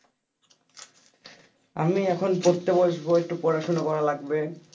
আমি এখন পড়তে বসবো একটু পড়াশুনা করা লাগবে।